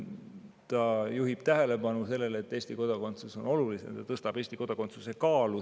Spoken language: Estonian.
See juhib tähelepanu sellele, et Eesti kodakondsus on olulisem ja tõstab Eesti kodakondsuse kaalu.